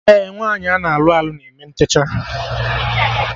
Ee, nwaanyị ana alụ alụ na eme ntechaa